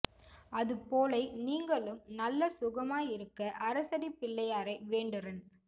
அது போலை நீங்களும் நல்ல சுகமாய் இருக்க அரசடி பிள்ளையாரை வேண்டுறன்